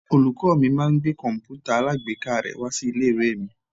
Olùkọ́ mi máa ń gbé komputa alagbeeka rè wá sí ilé-ìwé mi.